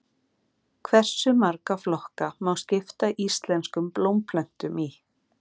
Hversu marga flokka má skipta íslenskum blómplöntum í?